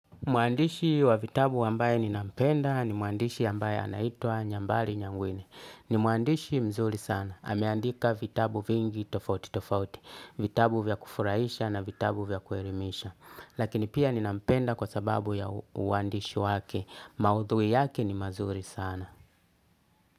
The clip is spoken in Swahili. Muandishi wa vitabu ambaye ni nampenda ni muandishi ambaye anaitwa nyambali nyangwine. Ni muandishi mzuri sana. Ameandika vitabu vingi tofauti tofauti. Vitabu vya kufuraisha na vitabu vya kuelimisha. Lakini pia ni nampenda kwa sababu ya uandishi wake. Maudhui yake ni mazuri sana.